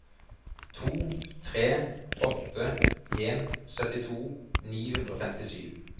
to tre åtte en syttito ni hundre og femtisju